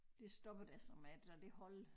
Det stoppede altså med det der det hold